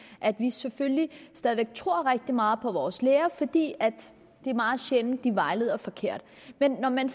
at vi selvfølgelig stadig væk tror rigtig meget på vores læger fordi det er meget sjældent de vejleder forkert men når man